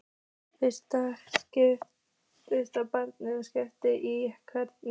Flysjið bananana og skerið í sneiðar.